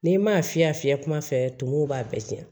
N'i ma fiyɛ fiyɛ kuma fɛ tumun b'a bɛɛ cɛn